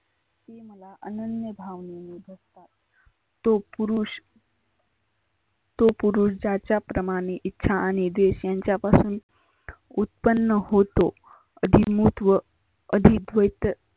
आनन्य भाव तो पुरुष तो पुरुष ज्याच्या प्रमाने इच्छा आणि देश यांच्यापासून उत्पन्न होतो ती मुठ व अधीक होय